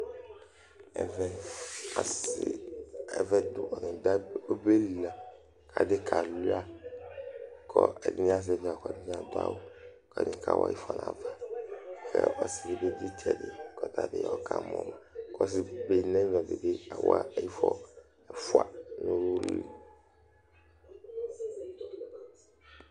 Ɛvɛ asɩ nɩ adu obe li la Kʋ adi kalʋia Kʋ Ɛdɩnɩ azɛvɩ awʋ, kʋ ɛdɩnɩ adu awʋ, kʋ ɛdɩnɩ kawa ɩfɔ nʋ ava, Ɔsɩ dɩ dʋ ɩysɛdɩ kʋ ɔtabɩ ɔkamɔma, kʋ ɔsɩbe dɩ nʋ ɛfɛ bɩ kawa ɩfɔ ɛfʋa nʋ ʋlɩ